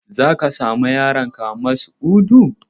Za ka sa ma yaronka suna Mas'udu?